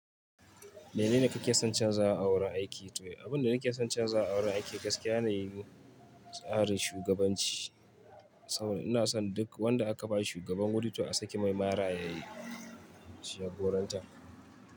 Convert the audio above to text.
Menene kake son canza a wurin aiki? To, abin da nake son canzawa a wurin aiki gaskiya yanayin, tsarin shugabanci. Saboda ina son duk wanda aka ba shi shugaban wuri o a saki mai mara ya yi jagoranta.